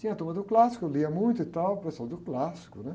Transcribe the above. Tinha a turma do clássico, eu lia muito e tal, professor do clássico, né?